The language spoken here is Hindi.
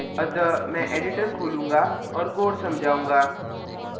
अतः मैं editor खोलूँगा और code समझाऊँगा